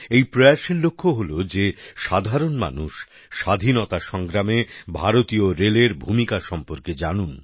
এই প্রয়াসের লক্ষ্য হলো যে সাধারণ মানুষ স্বাধীনতা সংগ্রামে ভারতীয় রেলের ভূমিকা সম্পর্কে জানুন